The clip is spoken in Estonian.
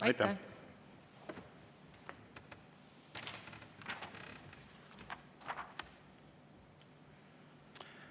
Aitäh!